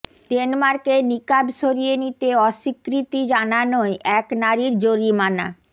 ডেনমার্কে নিকাব সরিয়ে নিতে অস্বীকৃতি জানানোয় এক নারীর জরিমানা